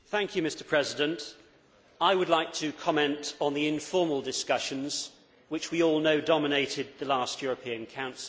Mr President, I would like to comment on the informal discussions which we all know dominated the last European Council.